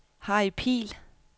Harry Pihl